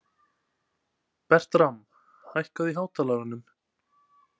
Bertram, hækkaðu í hátalaranum.